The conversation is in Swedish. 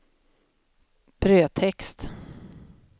brödtext